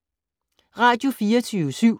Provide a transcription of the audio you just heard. Radio24syv